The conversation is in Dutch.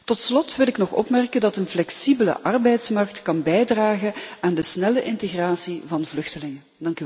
Tot slot wil ik nog opmerken dat een flexibele arbeidsmarkt kan bijdragen aan de snelle integratie van vluchtelingen.